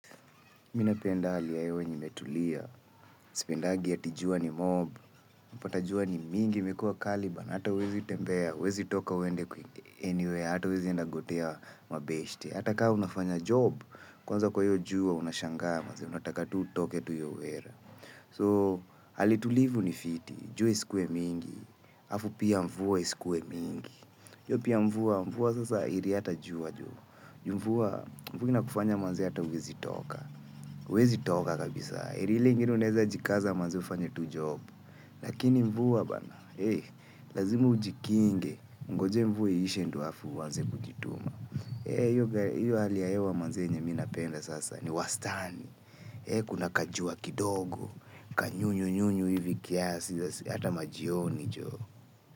Mimi napenda hali ya hewa yenye imetulia. Sipendagi ati jua ni mob. Pata jua ni mingi. Imekuwa kali bana hata huwezi tembea huwezi toka uende kwi anywhere hata huwezi enda gotea mabeshte. Hata kaa unafanya job. Kwanza kwa hio jua unashangaa maze. Unataka tu utoke tu hiyo wera. So, hali tulivu ni fiti. Jua isikuwe mingi. Afu pia mvua isikuwe mingi pia mvua mvua sasa heri hata jua jo. Ju mvua. Mvua inakufanya manze hata huwezi toka. Huwezi toka kabisa. Heri ile ingine unaweza jikaza maze ufanye tu job. Lakini mvuwa bana. Hei, lazima ujikinge. Ngojea mvua iishe ndo aafu uanze kujituma. Hei, hali ya hewa manze yenye minapenda sasa. Ni wastani. He, kuna kajua kidogo. Kanyunyu nyunyu hivi kiasi. Hata majioni joo.